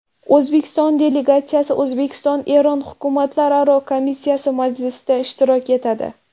O‘zbekiston delegatsiyasi O‘zbekiston-Eron hukumatlararo komissiyasi majlisida ishtirok etadi.